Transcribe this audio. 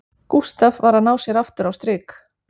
Gústaf var að ná sér aftur á strik